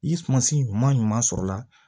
I sumansi ɲuman ɲuman sɔrɔla